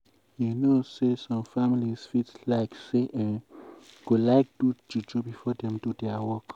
you know um say some families fit like say eeh / go like do juju before dem do dia work.